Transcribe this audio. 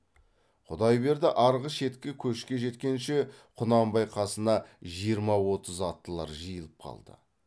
құдайберді арғы шеткі көшке жеткенше құнанбай қасына жиырма отыз аттылар жиылып қалды